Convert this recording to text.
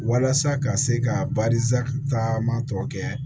Walasa ka se ka taama tɔ kɛ